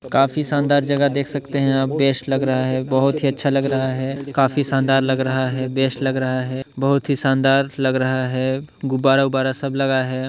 काफी शानदार जगह देख सकते है आप बेस्ट लग रहा है बहुत ही अच्छा लग रहा है काफी शानदार लग रहा है बस्ट लग रहा है बहोत ही शानदार लग रहा है गुब्बारा वुब्बारा सब लगा है